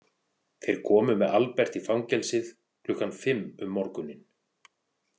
Þeir komu með Albert í fangelsið klukkan fimm um morguninn.